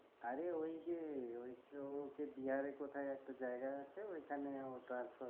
আরে ওইযে ঐতো বিহারে কোথায় একটা জায়গা আছে ওইখানে ও transfer